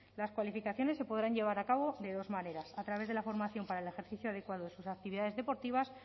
las cualificaciones se podrán llevar a cabo de dos maneras a través de la formación para el ejercicio adecuado de sus actividades deportivas